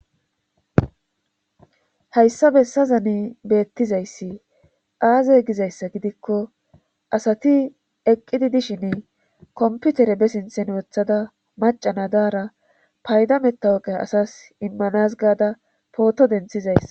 hayssa bessa zani beettizayssi aaze gizayssa gidikko asati eqqidi dishin komputere be sinthen wothada macana daara paydametta woqe asas immanas gaada pooto denthizayssa